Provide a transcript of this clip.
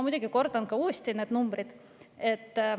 Ma kordan uuesti neid numbreid.